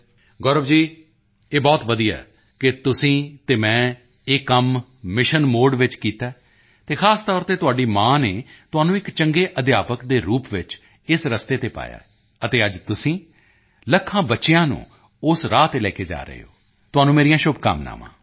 ਗੌਰਵ ਜੀ ਇਹ ਬਹੁਤ ਵਧੀਆ ਹੈ ਕਿ ਤੁਸੀਂ ਅਤੇ ਮੈਂ ਇਹ ਕੰਮ ਮਿਸ਼ਨ ਮੋਡ ਵਿੱਚ ਕੀਤਾ ਹੈ ਅਤੇ ਖ਼ਾਸ ਤੌਰ ਤੇ ਤੁਹਾਡੀ ਮਾਂ ਨੇ ਤੁਹਾਨੂੰ ਇੱਕ ਚੰਗੇ ਅਧਿਆਪਕ ਦੇ ਰੂਪ ਵਿੱਚ ਇਸ ਰਸਤੇ ਤੇ ਪਾਇਆ ਹੈ ਅਤੇ ਅੱਜ ਤੁਸੀਂ ਲੱਖਾਂ ਬੱਚਿਆਂ ਨੂੰ ਉਸ ਰਾਹ ਤੇ ਲਿਜਾ ਰਹੇ ਹੋ ਤੁਹਾਨੂੰ ਮੇਰੀਆਂ ਸ਼ੁਭਕਾਮਨਾਵਾਂ